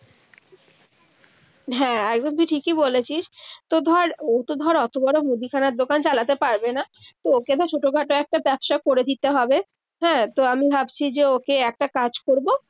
হ্যাঁ, একদম তুই ঠিকই বলেছিস। তো ধর তো ধর ওতো বড়ো মুদিখানার দোকান চালাতে পারবেনা। তো ওকে না ছোটোখাটো একটা ব্যবসা করে দিতে হবে। হ্যাঁ, তো আমি ভাবছি যে ওকে একটা কাজ করবো।